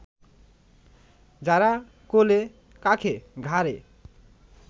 যারা কোলে-কাঁখে, ঘাড়ে